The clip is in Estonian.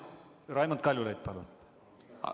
Raimond Kaljulaid, palun!